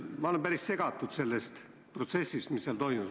Ma olen päris segatud sellest protsessist, mis seal toimus.